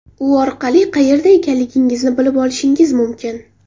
U orqali qayerda ekanligingizni bilib olishingiz mumkin.